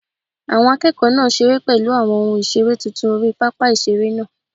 Àwọn akẹ́kọ̀ọ́ náà ń seré pẹ̀lú àwọn ohun ìseré tuntun orí pápá ìseré náà